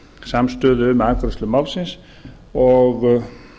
samstöðu um afgreiðslu málsins og